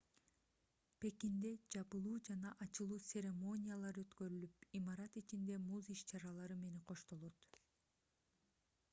пекинде жабылуу жана ачылуу церемониялары өткөрүлүп имарат ичиндеги муз иш-чаралары менен коштолот